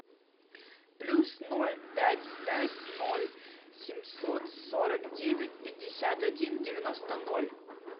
плюс ноль пять пять ноль семьсот сорок девять пятьдесят один девяносто ноль